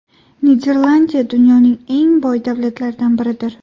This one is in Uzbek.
Niderlandiya dunyoning eng boy davlatlardan biridir.